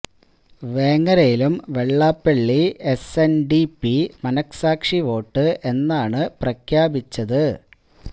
വേങ്ങരയിലും Vellappally S N D P മനഃസാക്ഷി vote എന്നാണ് പ്രഖ്യാപിച്ചത്